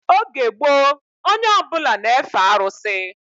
Oge gboo onye ọbụla na-efe arụsị